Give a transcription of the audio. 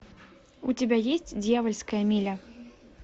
у тебя есть дьявольская миля